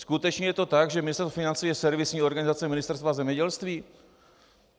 Skutečně je to tak, že Ministerstvo financí je servisní organizace Ministerstva zemědělství?